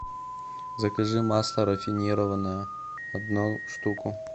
закажи масло рафинированное одну штуку